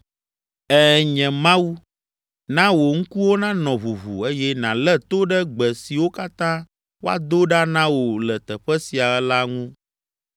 “Ẽ, nye Mawu, na wò ŋkuwo nanɔ ʋuʋu eye nàlé to ɖe gbe siwo katã woado ɖa na wò le teƒe sia la ŋu.